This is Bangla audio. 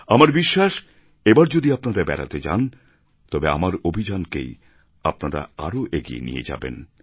আমার বিশ্বাস এবার যদি আপনারা বেড়াতে যান তবে আমার অভিযানকেই আপনারা আরও এগিয়ে নিয়ে যাবেন